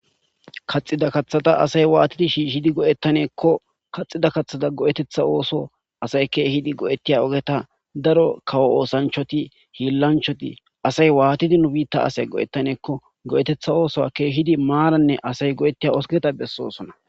kaxida kaththada asay waatidi shiishidi go7ettaneekko kaxida kaththada go7etetha ooso asay keeshidi go7ettiya ogeta daro kawo oosanchoti hiillanchoti asay waatidi nu biitta asay go7ettaneekko go7etetha oosoa keehidi maaranne asay go7ettiya osketa bessosona.